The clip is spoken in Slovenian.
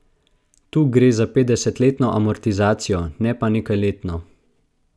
Tu gre za petdesetletno amortizacijo, ne pa nekajletno.